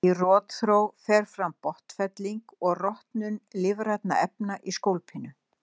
Í rotþró fer fram botnfelling og rotnun lífrænna efna í skólpinu.